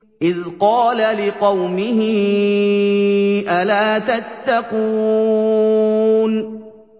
إِذْ قَالَ لِقَوْمِهِ أَلَا تَتَّقُونَ